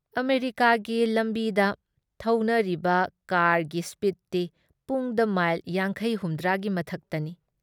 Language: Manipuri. ꯑꯃꯦꯔꯤꯀꯥꯒꯤ ꯂꯝꯕꯤꯗ ꯊꯧꯅꯔꯤꯕ ꯀꯥꯔꯒꯤ ꯁ꯭ꯄꯤꯗꯇꯤ ꯄꯨꯡꯗ ꯃꯥꯏꯜ ꯌꯥꯡꯈꯩ ꯍꯨꯝꯗ꯭ꯔꯥ ꯒꯤ ꯃꯊꯛꯇꯅꯤ ꯫